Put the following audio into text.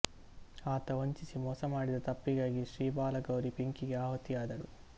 ಆತ ವಂಚಿಸಿ ಮೋಸ ಮಾಡಿದ ತಪ್ಪಿಗಾಗಿ ಶ್ರೀಬಾಲಗೌರಿ ಬೆಂಕಿಗೆ ಆಹುತಿಯಾದಳು